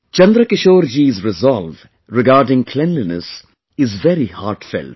Chandrakishore ji's resolve regarding cleanliness is very heartfelt